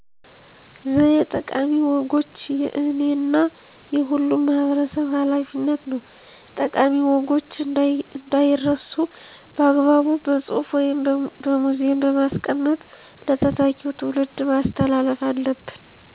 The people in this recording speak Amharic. ዘዬ ጠቃሚ ወጎች የእኔ እና የሁሉም ማህበረሰብ ሀላፊነት ነው። ጠቃሚ ወጎች እንዳይረሱ በአግባቡ በፅሁፍ ወይም በሙዚየም በማስቀመጥ ለተተኪው ትውልድ ማስተላለፍ አለብን።